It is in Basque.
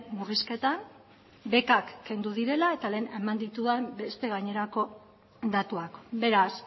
murrizketan bekak kendu direla eta lehen eman ditudan beste gainerako datuak beraz